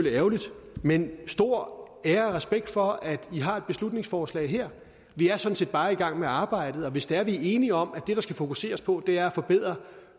ærgerligt men stor ære og respekt for at i har et beslutningsforslag her vi er sådan set bare i gang med arbejdet og hvis det er at vi er enige om at det der skal fokuseres på er at forbedre